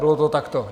Bylo to takto.